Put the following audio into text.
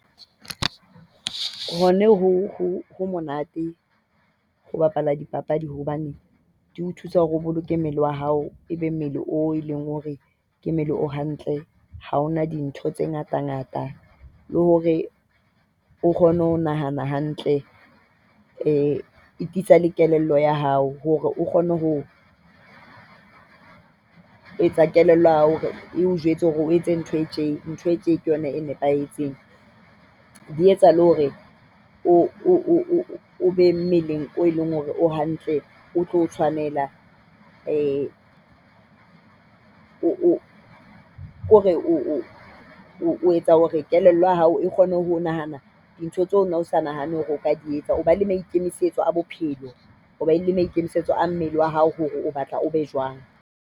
Hona ho ho monate ho bapala dipapadi hobane di o thusa hore o boloke mmele wa hao, ebe mmele o e leng hore ke mmele o hantle. Ha hona dintho tse ngatangata le hore o kgone ho nahana hantle. E tiisa le kelello ya hao hore o kgone ho etsa kelello ya hore o jwetse hore o etse ntho e tje. Ntho e tje ke yona e nepahetseng, Di etsa le hore o be mmeleng o leng hore o hantle, o tlo o tshwanela. O o etsa hore kelello ya hao e kgone ho nahana dintho tseo no sa nahane hore o ka di etsa. O ba le maikemisetso a bophelo, o ba le maikemisetso a mmele wa hao hore o batla o be jwang.